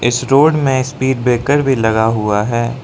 इस रोड में speed breaker भी लगा हुआ है।